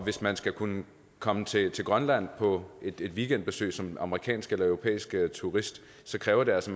hvis man skal kunne komme til grønland på et weekendbesøg som amerikansk eller europæisk turist kræver det altså